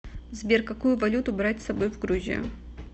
сбер какую валюту брать с собой в грузию